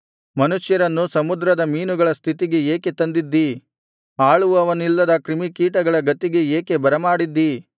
ಮನುಷ್ಯರನ್ನು ಸಮುದ್ರದ ಮೀನುಗಳ ಸ್ಥಿತಿಗೆ ಏಕೆ ತಂದಿದ್ದೀ ಆಳುವವನಿಲ್ಲದ ಕ್ರಿಮಿಕೀಟಗಳ ಗತಿಗೆ ಏಕೆ ಬರಮಾಡಿದ್ದೀ